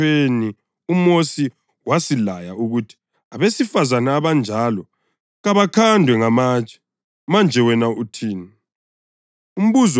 EMthethweni uMosi wasilaya ukuthi abesifazane abanjalo kabakhandwe ngamatshe. Manje wena uthini?”